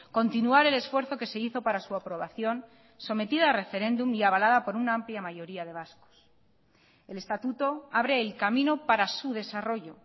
continuar el esfuerzo que se hizo para su aprobación sometido a referéndum y avalada por una amplia mayoría de vascos el estatuto abre el camino para su desarrollo